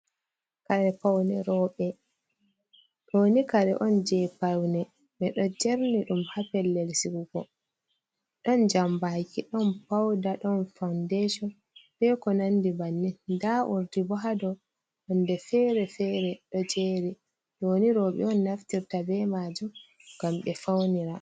Doni, kare on je paune ɓeɗo jerni ɗum hapellel sigugo. ɗon jambaki ɗon pauda ɗon fawundashon beko nandi bannin. nda urdi bo haɗo nonde fere-fere do jeri, ɗoni roɓe on naftirta be majum ngam ɓe faunira.